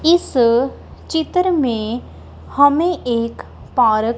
इस चित्र में हमें एक पारक --